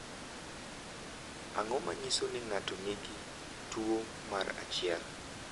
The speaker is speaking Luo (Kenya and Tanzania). Ang’o ma nyiso ni ng’ato nigi tuwo mar 1?